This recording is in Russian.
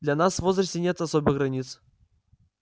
для нас в возрасте нет особых границ